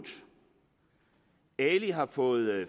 ali har fået